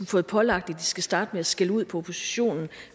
fået pålagt at de skal starte med at skælde ud på oppositionen